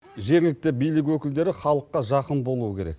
жергілікті билік өкілдері халыққа жақын болу керек